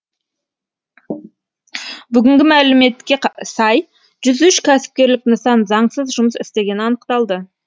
бүгінгі мәліметке сай жүз үш кәсіпкерлік нысан заңсыз жұмыс істегені анықталды